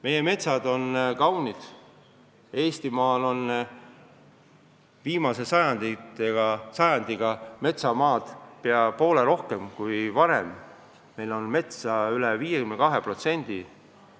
Meie metsad on kaunid ja Eestimaal on viimase sajandiga metsamaad tekkinud pea poole rohkem kui varem – meil on metsa üle 52% pindalast.